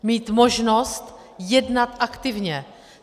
Mít možnost jednat aktivně.